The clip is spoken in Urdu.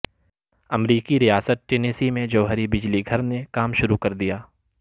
امریکی ریاست ٹینیسی میں جوہری بجلی گھر نے کام شروع کر دیا